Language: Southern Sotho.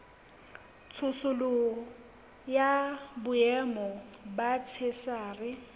tsosoloso ya boemo ba theshiari